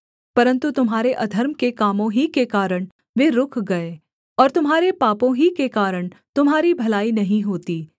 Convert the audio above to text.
परन्तु तुम्हारे अधर्म के कामों ही के कारण वे रुक गए और तुम्हारे पापों ही के कारण तुम्हारी भलाई नहीं होती